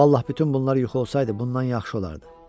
Vallah bütün bunlar yuxu olsaydı, bundan yaxşı olardı.